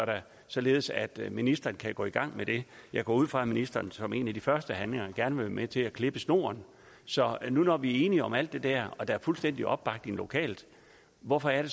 således at ministeren kan gå i gang jeg går ud fra at ministeren som en af sine første handlinger gerne vil være med til at klippe snoren så nu hvor vi er enige om alt det der og der er fuldstændig opbakning lokalt hvorfor er det